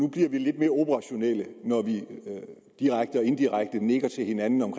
bliver vi lidt mere operationelle når vi direkte og indirekte nikker til hinanden om